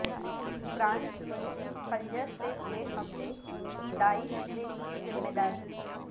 France میں خنجرسے ہوئے حملے کی داعش نے لی ذمہ داری